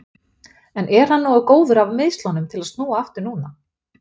En er hann nógu góður af meiðslunum til að snúa aftur núna?